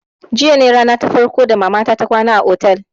Jiya ne rana ta farko ta mama ta ta kwana a otel